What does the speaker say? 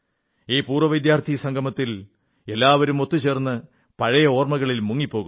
ഈ പൂർവ്വവിദ്യാർഥി സംഗമത്തിൽ എല്ലാവരും ഒത്തുചേർന്ന് പഴയ ഒർമ്മകളിൽ മുങ്ങിപ്പോകുന്നു